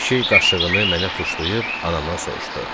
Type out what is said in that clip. Kişi qaşığını mənə tuşlayıb anamdan soruşdu: